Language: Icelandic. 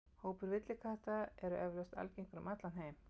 Hópar villikatta eru eflaust algengir um allan heim.